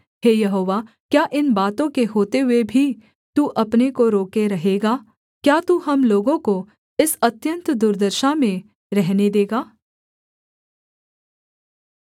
हे यहोवा क्या इन बातों के होते हुए भी तू अपने को रोके रहेगा क्या तू हम लोगों को इस अत्यन्त दुर्दशा में रहने देगा